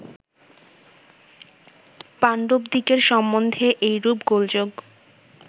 পাণ্ডবদিগের সম্বন্ধে এইরূপ গোলযোগ